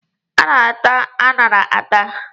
A na-ata aṅara ata.